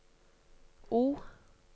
O